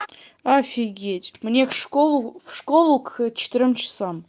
офигеть мне в школу в школу к четырём часам